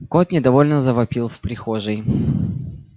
кот недовольно завопил в прихожей